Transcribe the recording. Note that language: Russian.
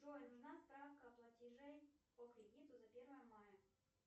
джой нужна справка платежей по кредиту за первое мая